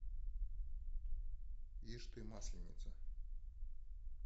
ишь ты масленица